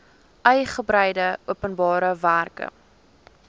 uigebreide openbare werke